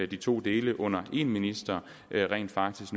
de to dele under en minister rent faktisk